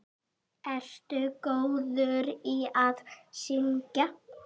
Ertu góður í að syngja?